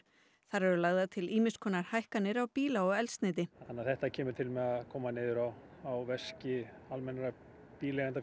þar eru lagðar til ýmiss konar hækkanir á bíla og eldsneyti þannig að þetta kemur til með að koma niður á á veski almennra